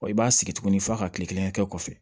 i b'a sigi tuguni f'a ka kile kelen kɛ kɔfɛ